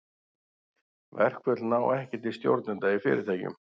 Verkföll ná ekki til stjórnenda í fyrirtækjum.